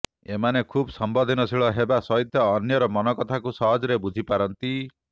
ଏମାନେ ଖୁବ ସମ୍ବେଦନଶୀଳ ହେବା ସହିତ ଅନ୍ୟର ମନକଥାକୁ ସହଜରେ ବୁଝିପାରନ୍ତି